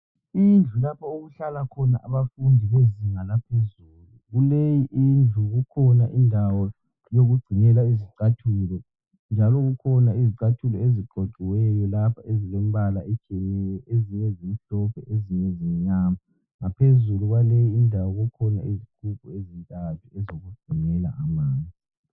Indlu lapho okuhlala khona abafundi bezinga laphezulu. Kuleyi indlu kukhona indawo yokugcinela izicathulo njalo kukhona izicathulo eziqoqiweyo lapha ezilemibala etshiyeneyo, ezinye zimhlophe, ezinye zimnyama. Ngaphezulu kwaleyindawo kukhona izigubhu ezintathu ezokugcinela amanzi.